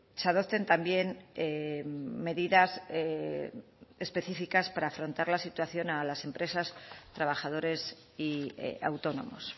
se adopten también medidas específicas para afrontar la situación de las empresas trabajadores y autónomos